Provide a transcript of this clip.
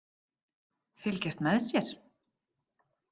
Fylgjast með sér?